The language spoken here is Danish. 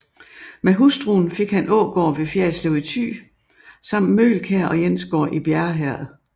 Med hustruen fik han Ågård ved Fjerritslev i Thy samt Møgelkær og Jensgård i Bjerre Herred